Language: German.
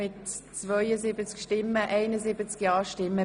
Der Grosse Rat beschliesst: Ablehnung